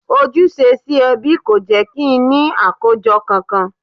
Ojúṣe sí ẹbí kò jẹ́ kí n ní àkójọ kankan